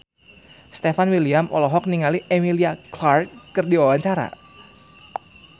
Stefan William olohok ningali Emilia Clarke keur diwawancara